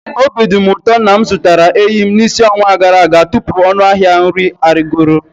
Obi dị m ụtọ na m zụtara eyịm n'isi ọnwa gara aga tupu ọnụ ahịa nri arịgoro.